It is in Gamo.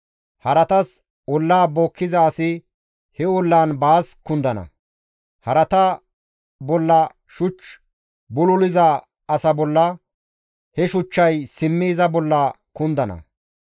Haratas olla bookkiza asi he ollan baas kundana; harata bolla shuch bululiza asa bolla he shuchchay simmi iza bolla kundana.